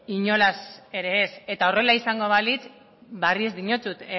inolaz ere ez eta horrela izango balitz berriro diotsut